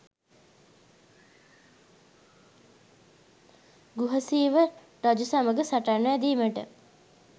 ගුහසීව රජු සමඟ සටන් වැදීමට